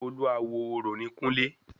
Olúawo orò ni kúnlé